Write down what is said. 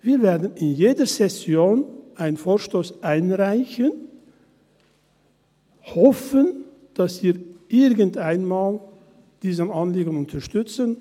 – Wir werden in jeder Session einen Vorstoss einreichen und hoffen, dass Sie dieses Anliegen irgendeinmal unterstützen.